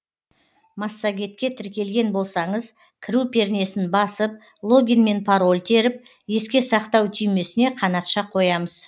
массагетке тіркелген болсаңыз кіру пернесін басып логин мен пароль теріп еске сақтау түймесіне қанатша қоямыз